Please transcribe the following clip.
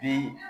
Bi